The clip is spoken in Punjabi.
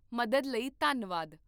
ਮਦਦ ਲਈ ਧੰਨਵਾਦ